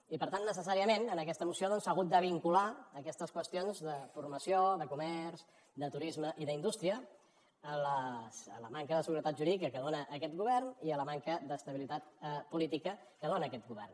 i per tant necessàriament en aquesta moció doncs s’han hagut de vincular aquestes qüestions de formació de comerç de turisme i d’indústria a la manca de seguretat jurídica que dona aquest govern i a la manca d’estabilitat política que dona aquest govern